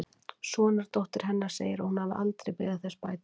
sonardóttir hennar segir að hún hafi aldrei beðið þess bætur